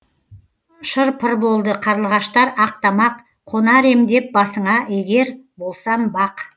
шыр пыр болды қарлығаштар ақ тамақ қонар ем деп басыңа егер болсам бақ